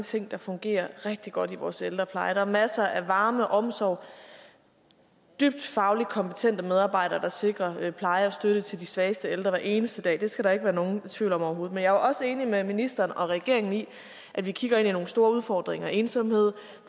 ting der fungerer rigtig godt i vores ældrepleje at der er masser af varme og omsorg dybt fagligt kompetente medarbejdere der sikrer pleje og støtte til de svageste ældre hver eneste dag skal der ikke være nogen tvivl om overhovedet men jeg også enig med ministeren og regeringen i at vi kigger ind i nogle store udfordringer som ensomhed